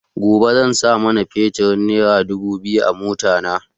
Gobe zan sa man feturin nera dubu biyar a mota na